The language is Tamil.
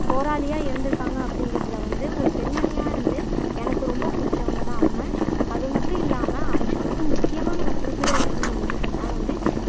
போராளியா இருந்துருக்காங்க அப்படிங்குறதுல வந்து ஒரு பெண்மணியா இருந்து எனக்கு ரொம்ப புடிச்சவங்க தான் அவங்க அது மட்டும் இல்லாம அவற்றில் வந்து முக்கியமா நம்ம குறிப்பிட வேண்டும் என்று சொன்னால் வந்து